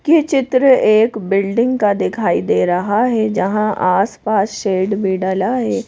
ये चित्र एक बिल्डिंग का दिखाई दे रहा है जहाँ आसपास शेड भी डला है।